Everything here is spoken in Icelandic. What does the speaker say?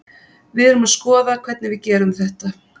Við erum að skoða hvernig við gerum þetta.